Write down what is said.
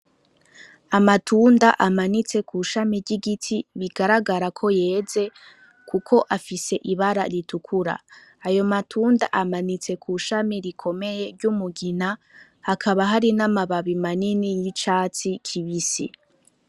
Amatunda amanitse ku shami ry'igiti bigaragara koyeze Kuko afise ibara ritukura. Ayo matunda amanitse kw'ishami rikomeye ry'umugina Hakaba hari na mababi akomeye asa n'icatsi kibisi.